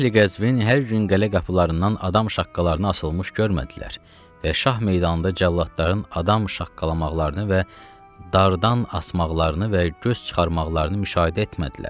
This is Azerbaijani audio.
Əhli-Qəzvin hər gün qala qapılarından adam şaqqalarının asılmış görmədilər və Şah meydanında cəlladların adam şaqqalamaqlarını və dardar asmaqlarını və göz çıxarmaqlarını müşahidə etmədilər.